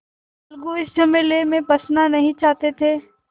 अलगू इस झमेले में फँसना नहीं चाहते थे